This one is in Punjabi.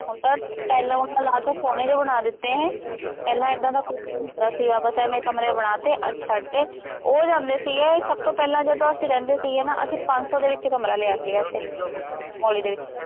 ਹੁਣ ਤਾਂ ਟਾਈਲਾਂ ਟਾਊਲਾਂ ਲਾ ਕੇ ਸੋਹਣੇ ਜਿਹੇ ਬਣਾ ਦਿੱਤੇ, ਪਹਿਲਾ ਦੇਦਾਂ ਦਾ ਕੁੱਛ ਵੀ ਨਹੀਂ ਹੁੰਦਾ ਸੀਗਾ, ਬਸ ਐਵੇਂ ਕਮਰੇ ਬਣਾ ਦਿੱਤੇ, ਆਹ ਛੱਡਤੇ, ਉਹ ਜਾਂਦੇ ਸੀਗੇ ਸਭ ਤੋਂ ਪਹਿਲਾਂ ਜਦੋਂ ਅਸੀਂ ਰਹਿੰਦੇ ਸੀਗੇ ਨਾ, ਅਸੀਂ ਪੰਜ ਸੌਂ ਦੇ ਵਿੱਚ ਕਮਰਾ ਲਿਆ ਸੀਗਾ ਇੱਥੇ, ਮੁਹਾਲੀ ਦੇ ਵਿੱਚ